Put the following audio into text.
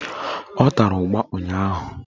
Ọ tara ụgba ụnyaahụ